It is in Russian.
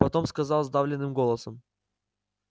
потом сказал сдавленным голосом